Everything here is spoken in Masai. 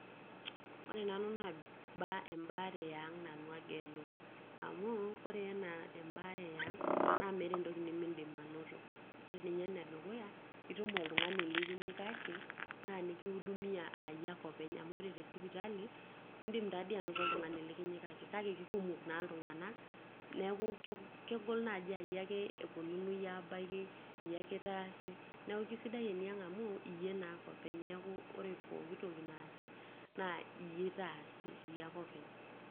Ore nanu naa emb embaare eang nanu agelu amuu ore ena embaare eang na meeta entoki nimiindim ainoto ,ore nye enedukuya, itum oltungani likinyikaki na likiudumia aa iyie ake openy, amu ore te sipitali indim diatoi ainoto oltungani likinyikaki kake kekumok naa iltunganak naa kegol tanaa iyie ake eponunui abaki ,iyake itaasi, niaku kesidai enaang amu iyie naake openy neaku ore pooki toki naasi naa iyie itaasi ,iyie ake openy.